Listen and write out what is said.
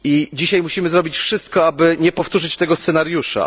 Dzisiaj musimy zrobić wszystko, aby nie powtórzyć tego scenariusza.